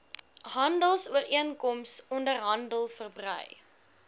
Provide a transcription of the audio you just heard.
handelsooreenkoms onderhandel verbrei